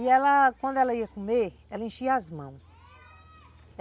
E ela, quando ela ia comer, ela enchia as mãos.